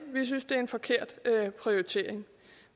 vi synes det er en forkert prioritering